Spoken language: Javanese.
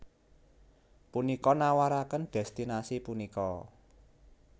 Punika nawaraken destinasi punika